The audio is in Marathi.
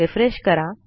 रिफ्रेश करा